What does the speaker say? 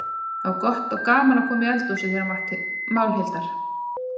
Það var gott og gaman að koma í eldhúsið þeirra Málhildar.